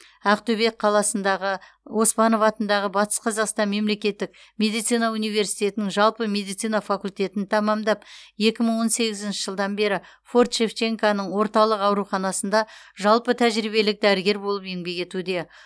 ақтөбе қаласындағы оспанов атындағы батыс қазақстан мемлекеттік медицина университетінің жалпы медицина факультетін тәмамдап екі мың он сегізінші жылдан бері форт шевченконың орталық ауруханасында жалпы тәжірибелік дәрігер болып еңбек етуде